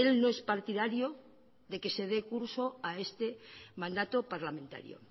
no es partidario de que se dé curso a este mandato parlamentario